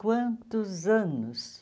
Quantos anos?